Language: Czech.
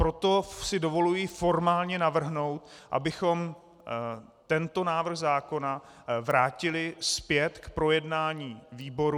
Proto si dovoluji formálně navrhnout, abychom tento návrh zákona vrátili zpět k projednání výboru.